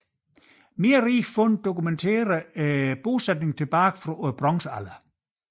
Flere rige fund dokumenterer bosætning tilbage fra bronzealderen